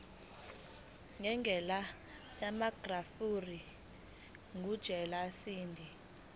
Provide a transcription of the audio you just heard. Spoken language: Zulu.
ngendlela yamagrafu njengeshadi